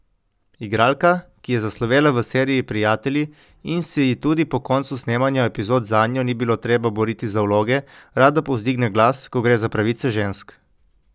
Igralka, ki je zaslovela v seriji Prijatelji in se ji tudi po koncu snemanja epizod zanjo ni bilo treba boriti za vloge, rada povzdigne glas, ko gre za pravice žensk.